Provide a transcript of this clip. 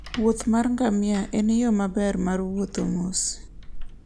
wuoth mar ngamia en yo maber mar wuotho mos.